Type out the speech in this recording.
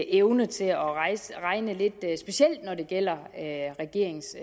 evne til at regne lidt specielt når det gælder regeringens